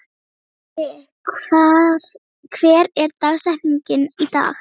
Haki, hver er dagsetningin í dag?